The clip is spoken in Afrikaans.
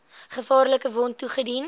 gevaarlike wond toegedien